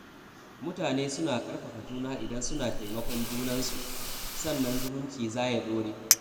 Mutane suna ƙarfafa juna idan suna taimakon junansu, sannan zumunci za ya ɗore.